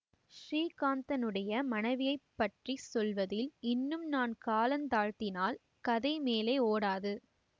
ஸ்ரீகாந்தனுடைய மனைவியைப் பற்றி சொல்வதில் இன்னும் நான் கால தாழ்த்தினால் கதை மேலே ஓடாது